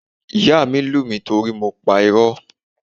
Ìyá mi lù mí torí mo pa irọ́.